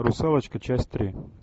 русалочка часть три